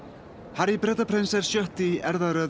Harry Bretaprins er sjötti í